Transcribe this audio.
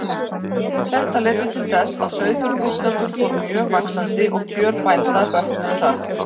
Þetta leiddi til þess að sauðfjárbúskapur fór mjög vaxandi, og kjör bænda bötnuðu hratt.